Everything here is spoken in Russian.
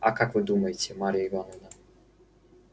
а как вы думаете марья ивановна